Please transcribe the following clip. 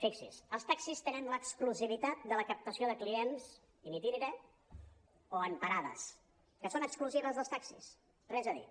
fixi’s els taxis tenen l’exclusivitat de la captació de clients in itinere o en parades que són exclusives dels taxis res a dir